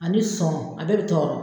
Ani sɔn a bɛɛ bɛ tɔɔrɔ